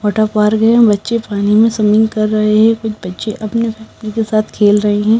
वटा पार गए बच्चे पानी में स्वमिंग कर रहे हैं कुछ बच्चे अपने के साथ खेल रहे हैं।